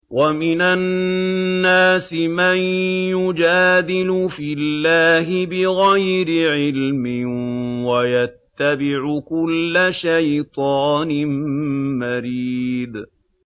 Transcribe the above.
وَمِنَ النَّاسِ مَن يُجَادِلُ فِي اللَّهِ بِغَيْرِ عِلْمٍ وَيَتَّبِعُ كُلَّ شَيْطَانٍ مَّرِيدٍ